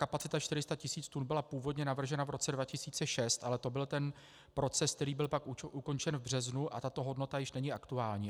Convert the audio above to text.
Kapacita 400 tis. tun byla původně navržena v roce 2006, ale to byl ten proces, který byl pak ukončen v březnu, a tato hodnota již není aktuální.